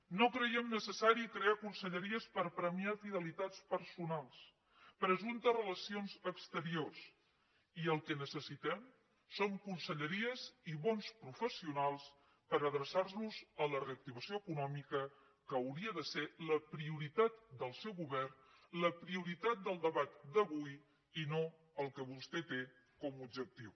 no creiem necessari crear conselleries per premiar fidelitats personals presumptes relacions exteriors i el que necessitem són conselleries i bons professionals per adreçar los a la reactivació econòmica que hauria de ser la prioritat del seu govern la prioritat del debat d’avui i no el que vostè té com a objectiu